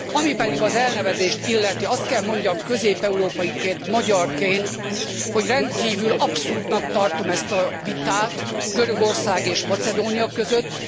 Ami pedig az elnevezést illeti, azt kell mondjam, közép európaiként, magyarként, hogy rendkívül abszurdnak tartom ezt a vitát Görögország és Macedónia között.